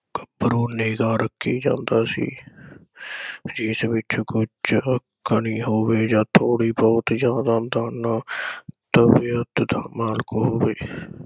ਕਰ ਕੇ ਜਾਂਦਾ ਸੀ । ਇਸ ਵਿਚ ਕੁਛ ਹੋਵੇ ਆ ਥੋੜੀ ਬਹੁੱਤ ਜਿਆਦਾ ਤਾ ਨਾ ਹੋਵੇ ।